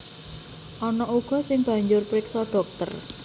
Ana uga sing banjur priksa dhokter